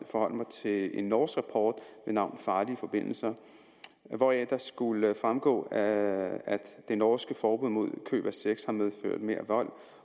forholde mig til en norsk rapport ved navn farlige forbindelser hvoraf det skulle fremgå at det norske forbud mod køb af sex har medført mere vold